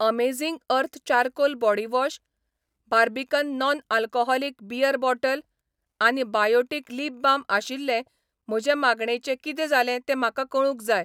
amazing earth charcoal body wash, Barbican non alcoholic beer bottle आनी Biotique lip balm आशिल्ले म्हजे मागणेचें कितें जालें तें म्हाका कळूंक जाय